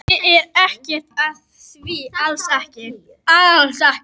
Ég er ekkert að því, alls ekki.